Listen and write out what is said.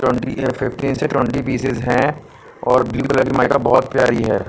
Twenty fifteen से twenty pieces है और ब्लू कलर बहोत प्यारी है।